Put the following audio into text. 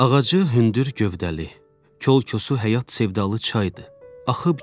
Ağacı hündür gövdəli, kolkosu həyat sevdalı çaydır axıb gedir.